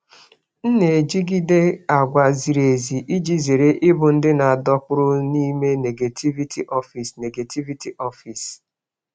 M na-ejigide àgwà ziri ezi iji zere ịbụ ndị a dọkpụrụ n'ime negativity ọfịs. negativity ọfịs.